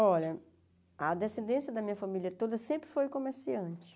Olha, a descendência da minha família toda sempre foi comerciante.